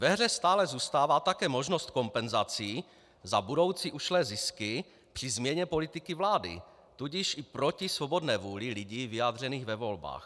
Ve hře stále zůstává také možnost kompenzací za budoucí ušlé zisky při změně politiky vlády, tudíž i proti svobodné vůli lidí vyjádřené ve volbách.